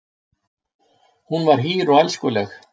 Hún var hýr og elskuleg.